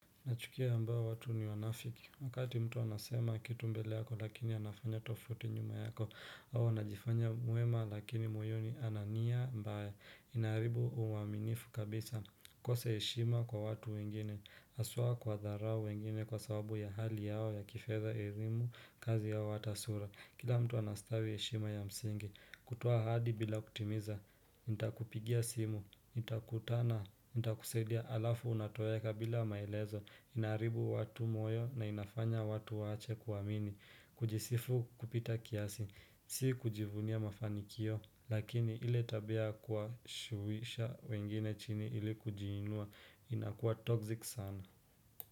Nachukia ambao watu ni wanafiki wakati mtu anasema kitu mbele yako lakini anafanya tofauti nyuma yako, au anajifanya muema lakini moyoni ana nia mbaya, inaharibu uwaminifu kabisa kose heshima kwa watu wengine haswa kuwadharau wengine kwa sababu ya hali yao ya kifedha, elimu, kazi au ata sura. Kila mtu anastawi heshima ya msingi, kutoa ahadi bila kutimiza Nitakupigia simu, nitakutana, nitakusadia alafu unatoweka bila maelezo, inaharibu watu moyo na inafanya watu waache kuamini. Kujisifu kupita kiasi, si kujivunia mafanikio lakini ile tabia ya kuwashuwisha wengine chini ili kujiinua inakuwa toxic sana.